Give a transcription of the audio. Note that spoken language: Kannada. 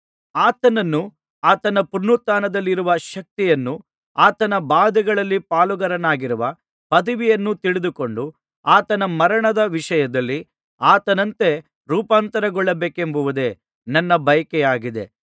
ಆತನನ್ನೂ ಆತನ ಪುನರುತ್ಥಾನದಲ್ಲಿರುವ ಶಕ್ತಿಯನ್ನೂ ಆತನ ಬಾಧೆಗಳಲ್ಲಿ ಪಾಲುಗಾರನಾಗಿರುವ ಪದವಿಯನ್ನೂ ತಿಳಿದುಕೊಂಡು ಆತನ ಮರಣದ ವಿಷಯದಲ್ಲಿ ಆತನಂತೆ ರೂಪಾಂತರಗೊಳ್ಳಬೇಕೆಂಬುದೇ ನನ್ನ ಬಯಕೆಯಾಗಿದೆ